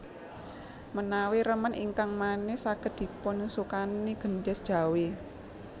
Menawi remen ingkang manis saged dipunsukani gendhis Jawi